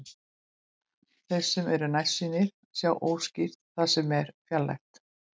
Þeir sem eru nærsýnir sjá óskýrt það sem er fjarlægt.